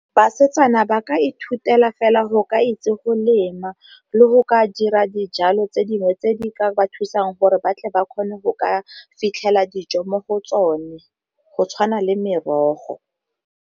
Basetsana ba ka ithutela fela go ka itse go lema le go ka dira dijalo tse dingwe tse di ka ba thusang gore batle ba kgone go ka fitlhela dijo mo go tsone, go tshwana le merogo.